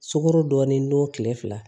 Sukaro dɔɔni don kile fila